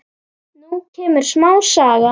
Nú kemur smá saga.